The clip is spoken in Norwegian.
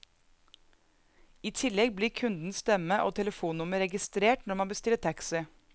I tillegg blir kundens stemme og telefonnummer registrert når man bestiller taxi.